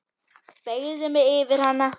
Beygði mig yfir hana.